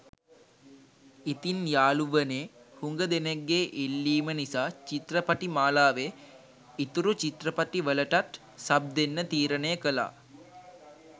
ඉතින් යාලුවනේ හුඟ දෙනෙක්ගේ ඉල්ලීම නිසාචිත්‍රපටි මාලාවේ ඉතුරු චිත්‍රපටි වලටත් සබ් දෙන්න තීරණය කළා.